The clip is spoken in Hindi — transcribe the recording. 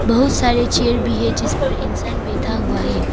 बहुत सारे चेयर भी है जिसपर इंसान बैठा हुआ है।